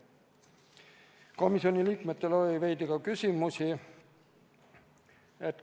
Komisjoni liikmetel oli veidi ka küsimusi.